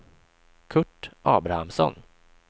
Curt Abrahamsson